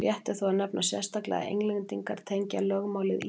rétt er þó að nefna sérstaklega að englendingar tengja lögmálið írum